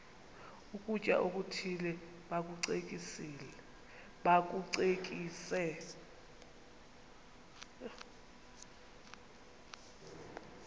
ukutya okuthile bakucekise